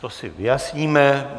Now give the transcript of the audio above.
To si vyjasníme.